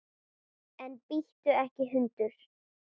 En bíttu ekki hundur!